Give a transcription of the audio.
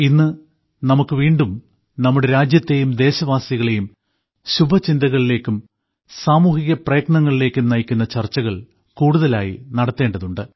ഇന്ന് നമുക്ക് വീണ്ടും നമ്മുടെ രാജ്യത്തെയും ദേശവാസികളെയും ശുഭചിന്തകളിലേക്കും സാമൂഹിക പ്രയത്നങ്ങളിലേക്കും നയിക്കുന്ന ചർച്ചകൾ കൂടുതലായി നടത്തേണ്ടതുണ്ട്